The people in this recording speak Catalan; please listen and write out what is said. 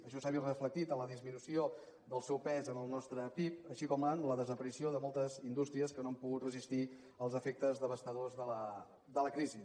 això s’ha vist reflectit en la disminució del seu pes en el nostre pib així com en la desaparició de moltes indústries que no han pogut resistir els efectes devastadors de la crisi